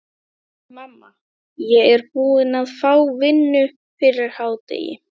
Mamma, ég er búinn að fá vinnu fyrir hádegi.